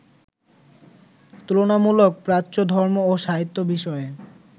তুলনামূলক প্রাচ্য ধর্ম ও সাহিত্য বিষয়ে